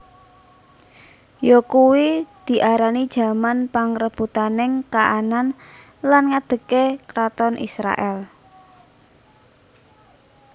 Yakuwi diarani jaman pangrebutaning Kanaan lan ngadhegé karaton Israèl